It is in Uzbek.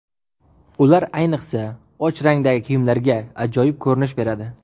Ular ayniqsa, och rangdagi kiyimlarga ajoyib ko‘rinish beradi.